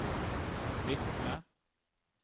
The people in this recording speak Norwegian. Kvikne